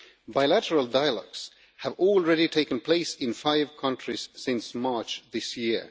Bilateral dialogues have already taken place in five countries since March this year.